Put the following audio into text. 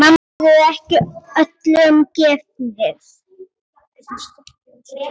Þeir eru ekki öllum gefnir.